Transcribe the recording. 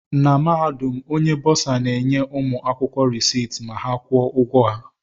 Na Mahadum, Onye Bọsa na-enye ụmụ akwụkwọ reciiti ma ha kwụọ ụgwọ ha